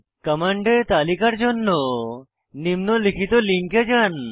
কমান্ডের তালিকার জন্য নিম্নলিখিত লিঙ্কে যান